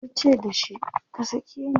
tace da shi"ka sake ni!"